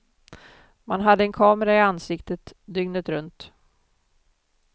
Man hade en kamera i ansiktet dygnet runt.